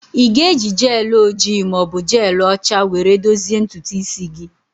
Ị ga-eji gel ojii ma ọ bụ jelụ ọcha were dozie ntutu isi gị?